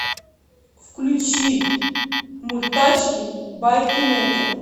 включи мульт тачки байки мэтра